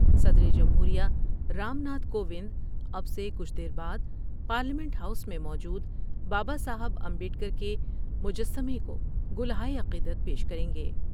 صدر جمہور یہ رام ناتھ کوونداب سے کچھ دیر بعد پارلیمنٹ ہاؤس میں موجود بابا صاحب امبیڈ کر کے مجسمہ کو گلہائے عقیدت پیش کر ینگے ۔